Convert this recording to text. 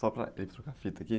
Só para ele trocar a fita aqui.